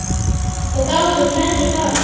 Og gátum hvergi farið.